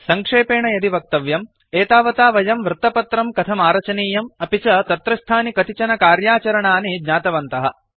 सङ्क्षेपेण यदि वक्तव्यम् एतावता वयं वृत्तपत्रं कथमारचनीयम् अपि च तत्रस्थानि कतिचन कार्याचरणानि ज्ञातवन्तः